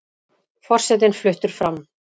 Forsetinn fluttur fram